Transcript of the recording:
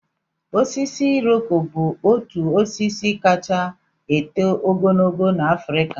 Osisi iroko bụ otu osisi kacha eto ogologo n'Afrịka